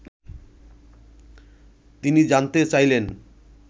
তিনি জানতে চাইলেন